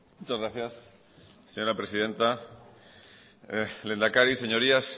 muchas gracias señora presidenta lehendakari señorías